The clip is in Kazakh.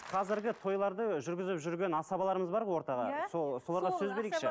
қазіргі тойларды жүргізіп жүрген асабаларымыз бар ғой ортаға сол соларға сөз берейікші